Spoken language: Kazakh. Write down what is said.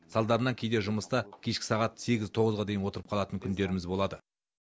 салдарынан кейде жұмыста кешкі сағат сегіз тоғызға дейін отырып қалатын күндеріміз болады